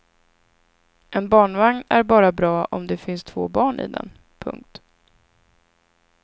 En barnvagn är bara bra om det finns två barn i den. punkt